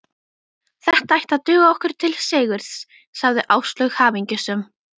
Þetta ætti að duga okkur til sigurs sagði Áslaug hamingjusöm.